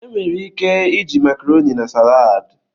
Enwere ike iji Makaroni na salaad.